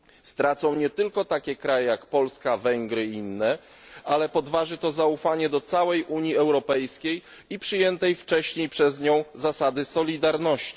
Stracą na tym nie tylko takie kraje, jak Polska czy Węgry, ale podważy to zaufanie do całej Unii Europejskiej i przyjętej wcześniej przez nią zasady solidarności.